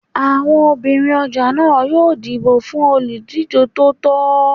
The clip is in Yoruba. Àwọn obìnrin ọjà náà yóò dìbò fún olùdíjé tó tọ́